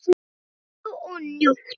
Kældu og njóttu!